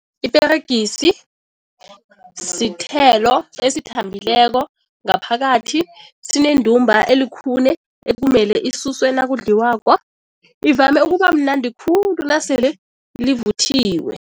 Iperegisi sithelo esithambileko ngaphakathi, sinendumba elikhune ekumele isuswe nakudliwako. Ivame ukuba mnandi khulu nasele livuthiwe.